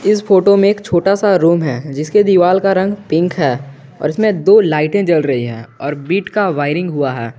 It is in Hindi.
इस फोटो में एक छोटा सा रूम है जिसके दीवाल का रंग पिंक है और इसमे दो लाइटे जल रही है और बीट का वायरिंग हुआ है।